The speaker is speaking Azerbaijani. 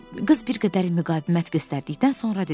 Qız bir qədər müqavimət göstərdikdən sonra dedi: